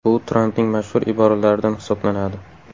Bu Trampning mashhur iboralaridan hisoblanadi.